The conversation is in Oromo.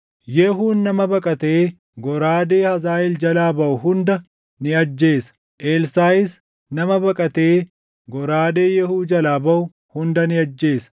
Yehuun nama baqatee goraadee Hazaaʼeel jalaa baʼu hunda ni ajjeesa; Elsaaʼis nama baqatee goraadee Yehuu jalaa baʼu hunda ni ajjeesa.